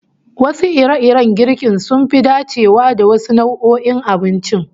Wasu ire-iren girkin sun fi dacewa da wasu nau'o'in abincin